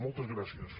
moltes gràcies